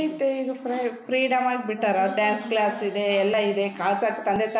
ಇರುತ್ತೆ ಇದು free freedom ಆಗಿ ಬಿಟ್ಟರ ಡಾನ್ಸ್ ಕ್ಲಾಸ್ ಇದೆ ಎಲ್ಲ ಇದೆ ಕಾಸ್ ಹಕ್ ತಂದೆ ತಾಯಿ--